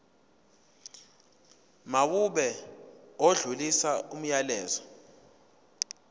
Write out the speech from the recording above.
mawube odlulisa umyalezo